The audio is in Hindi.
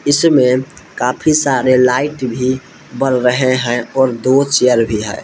इसमें काफी सारे लाइट भी बर रहे हैं और दो चेयर भी है।